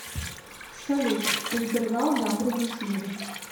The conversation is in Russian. салют интервал гамбринус лига